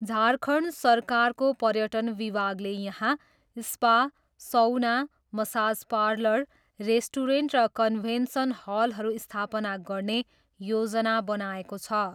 झारखण्ड सरकारको पर्यटन विभागले यहाँ spa, sauna, massage parlour, restaurant र कन्भेन्सन हलहरू स्थापना गर्ने योजना बनाएको छ।